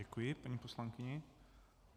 Děkuji paní poslankyni.